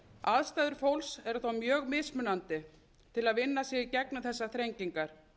aðstæður fólks eru þó mjög mismunandi til að vinna sig í gegnum þessar þrengingar